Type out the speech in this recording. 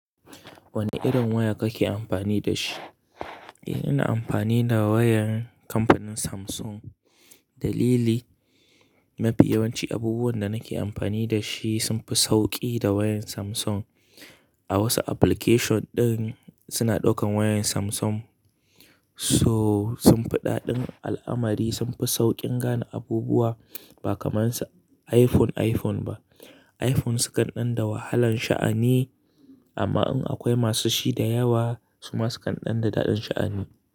Wane irin waya kake amfani da shi? Eh, ina amfani da wayar kamfanin Samsung. Dalili, mafi yawanci abubuwan da nake amfani da shi sun fi sauƙi da wayan Samsung. A wasu application ɗin suna ɗaukan wayan Samsung. So, sun fi daɗin al'amari, sun fi sauƙin gane abubuwa ba kamar su iPhone, iPhone ba. iPhone sukan ɗan da wahalan sha'ani amma in akwai masu shi da yawa su ma sukan ɗan da daɗin sha'ani.